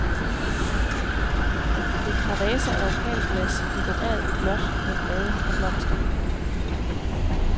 Et par vaser af opalglas, dekorerede i blåt med blade og blomster.